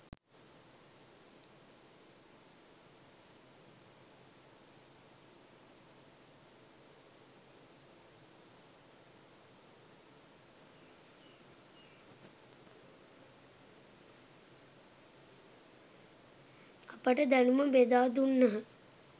අපට දැනුම බෙදා දුන්හ.